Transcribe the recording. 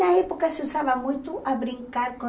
Na época se usava muito a brincar com